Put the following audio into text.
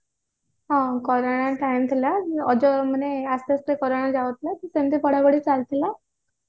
ହଁ corona time ଥିଲା ଆସ୍ତେ ଆସ୍ତେ ବି corona ଯାଉଥିଲା ତ ସେମିତି ପଢା ପଢି ବି ଚାଲିଥିଲା